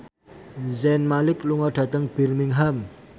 Zayn Malik lunga dhateng Birmingham